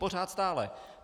Pořád, stále.